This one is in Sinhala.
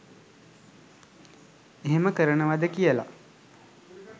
එහෙම කරනවද කියල.